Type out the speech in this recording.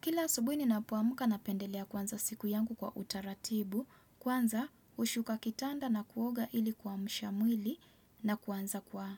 Kila asubuhi ninapoamka napendelea kuanza siku yangu kwa utaratibu, kwanza hushuka kitanda na kuoga ili kuamsha mwili na kuanza kwa